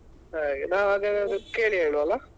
ಹಾಗೆ ನಾವ್ ಹಾಗಾದ್ರೆ ಕೇಳಿ ಹೇಳುವ ಅಲ್ಲ?